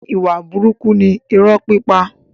Ìwà burúkú ni irọ́ pípa.